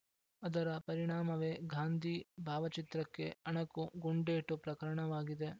ಅದರ ಪರಿಣಾಮವೇ ಗಾಂಧೀ ಭಾವಚಿತ್ರಕ್ಕೆ ಅಣಕು ಗುಂಡೇಟು ಪ್ರಕರಣವಾಗಿದೆ